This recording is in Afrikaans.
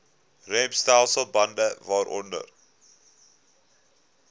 remstelsel bande waaronder